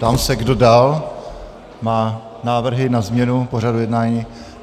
Ptám se, kdo dál má návrhy na změnu pořadu jednání.